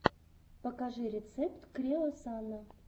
покажи рецепт креосана